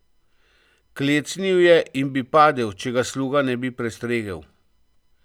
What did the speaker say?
Klecnil je in bi padel, če ga sluga ne bi prestregel.